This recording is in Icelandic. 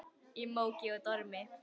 Í móki og dormi.